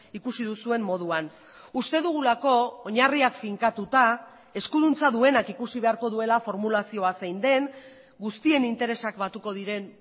ikusi duzuen moduan uste dugulako oinarriak finkatuta eskuduntza duenak ikusi beharko duela formulazioa zein den guztien interesak batuko diren